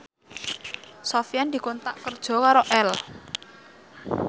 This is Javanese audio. Sofyan dikontrak kerja karo Elle